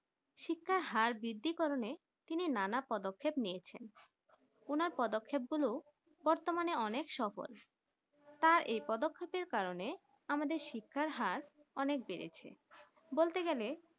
শিক্ষার হার বৃদ্ধি কারণে তিনি নানা পদক্ষেপ নিয়েছেন ওনার পদক্ষেপ গুলো বতর্মান অনেক সফল তার এই পদক্ষেপ কারণে আমাদের শিক্ষার হার অনেক বেড়েছে বলতে গালে